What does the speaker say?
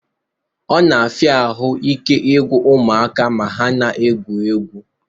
Ọ na-afịa ahụ ike igwụ ụmụaka ma ha na-egwu egwu